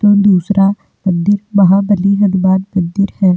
तो दूसरा मंदिर महाबलि हनुमान मंदिर है।